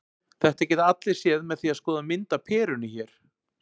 Þetta geta allir séð með því að skoða mynd af perunni hér.